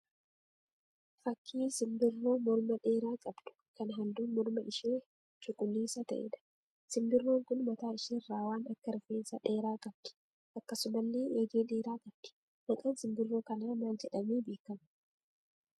Fakkii simbirroo morma dheeraa qabdu kan halluun morma ishee cuquliisa ta'eedha. Simbirroon kun mataa isheerraa waan akka rifeensa dheeraa qabdi. Akkasumallee eegee dheeraa qabdi. Maqaan simbirroo kanaa maal jedhamee beekama?